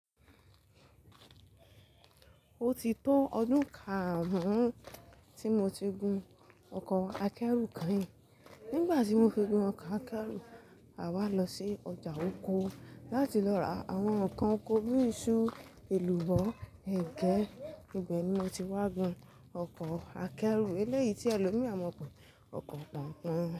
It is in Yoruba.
Ó ti tó ọdún karùn-ún tí mo ti gun ọkọ̀ akẹ́rù kan. Nígbà tí mo fi gun ọkọ̀ akẹ́rù, a wá lọ sí ọjà oko láti lọ ra àwọn ǹkan oko bí i iṣu, èlùbọ́, ẹ̀gẹ́. Ìgbẹ́ ni mo ti wá gbin ọkọ̀ akẹ́rù eléyìí tí ẹlòmíì máa ń pe ọkọ̀ pọ̀npọ́n.